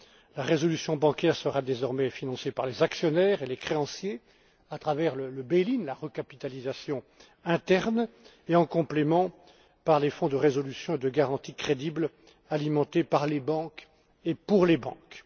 La résolution bancaire sera désormais financée par les actionnaires et les créanciers à travers le bail in la recapitalisation interne et, en complément, par des fonds de résolution et de garantie crédibles, alimentés par les banques et pour les banques.